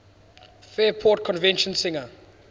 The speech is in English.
fairport convention singer